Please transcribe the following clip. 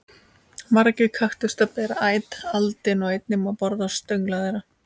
Margir kaktusar bera æt aldin og einnig má borða stöngla þeirra.